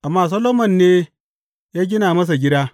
Amma Solomon ne ya gina masa gida.